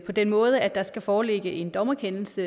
på den måde at der skal foreligge en dommerkendelse